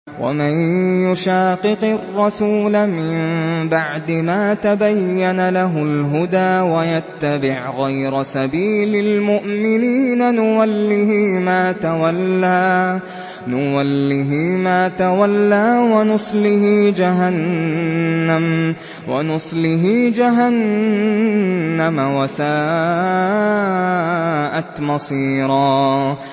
وَمَن يُشَاقِقِ الرَّسُولَ مِن بَعْدِ مَا تَبَيَّنَ لَهُ الْهُدَىٰ وَيَتَّبِعْ غَيْرَ سَبِيلِ الْمُؤْمِنِينَ نُوَلِّهِ مَا تَوَلَّىٰ وَنُصْلِهِ جَهَنَّمَ ۖ وَسَاءَتْ مَصِيرًا